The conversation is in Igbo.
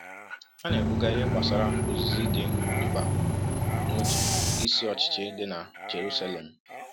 A na-ebuga ihe gbasara ozizi dị um mkpa n’òtù isi ọchịchị dị na Jeruselem.